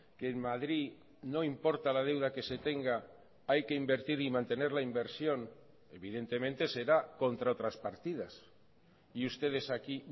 que en madrid no importa la deuda que se tenga hay que invertir y mantener la inversión evidentemente será contra otras partidas y ustedes aquí